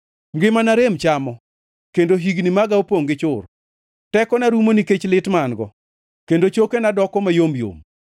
Ngimana rem chamo kendo higni maga opongʼ gi chur; tekona rumo nikech lit ma an-go kendo chokena doko mayom yom.